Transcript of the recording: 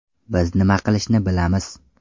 Biz nima qilishni bilamiz.